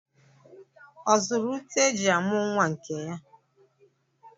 Ọ zụrụ ute eji amụ nwa nke ya?